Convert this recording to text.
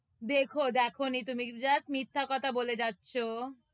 দেখো! দেখনি তুমি, just মিথ্যা কথা বলে যাচ্ছো,